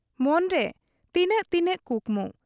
ᱢᱚᱱᱨᱮ ᱛᱤᱱᱟᱹᱜ ᱛᱤᱱᱟᱹᱜ ᱠᱩᱠᱢᱩ ᱾